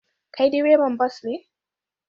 Kai direban bas ne?